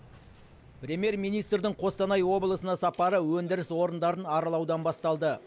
премьер министрдің қостанай облысына сапары өндіріс орындарын аралаудан басталды